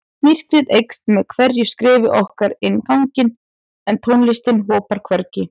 Myrkrið eykst með hverju skrefi okkar inn ganginn en tónlistin hopar hvergi.